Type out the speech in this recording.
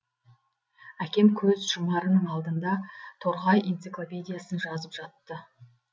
әкем көз жұмарының алдында торғай энциклопедиясын жазып жатты